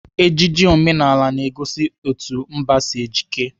Ejiji omenala na-egosi etu mba si ejike.